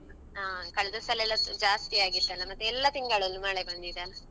ಹಾ ಕಳದ ಸಲ ಎಲ್ಲ ಜಾಸ್ತಿಯಾಗಿತ್ತಲ್ಲ ಮತ್ತೆ ಎಲ್ಲ ತಿಂಗಳಲ್ಲು ಮಳೆ ಬಂದಿದೆ ಅಲ್ಲ.